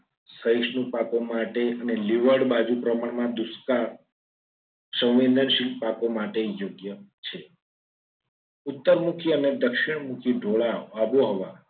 સરસ ના પાકો માટે અને લીવડ બાજુ પ્રમાણમાં દુષ્કાળ સંવેદનશીલ પાકો માટે યોગ્ય છે ઉત્તરમાંથી અને દક્ષિણ ઢોળાવો આબોહવા